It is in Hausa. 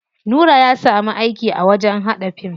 Nura ya samu aiki a wajen haɗa fim.